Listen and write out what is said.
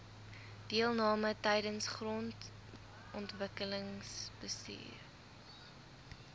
deelname tydens grondontwikkelingsbestuur